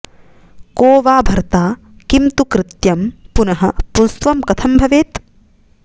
को वा भर्ता किं तु कृत्यं पुनः पुंस्त्वं कथं भवेत्